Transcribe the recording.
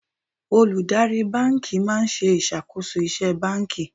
Olùdarí báńkì máa ń ṣe ìṣàkóso iṣẹ́ báńkì.